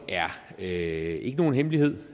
er ikke nogen hemmelighed